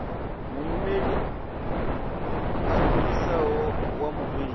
muimeli a fhirisaho wa mubveledzi